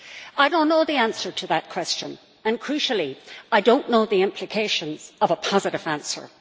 I do not know the answer to that question, and, crucially, I do not know the implications of a positive answer.